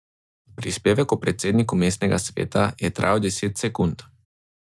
Prispevek o predsedniku mestnega sveta je trajal deset sekund.